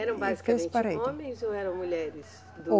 Eram basicamente homens ou eram mulheres?